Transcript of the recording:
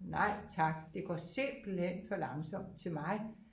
nej tak det går simpelthen for langsomt til mig